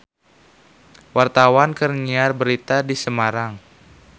Wartawan keur nyiar berita di Semarang